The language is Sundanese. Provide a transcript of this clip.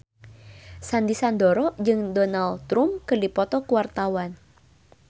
Sandy Sandoro jeung Donald Trump keur dipoto ku wartawan